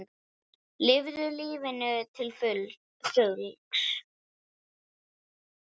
Lifðu lífinu til fulls!